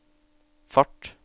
fart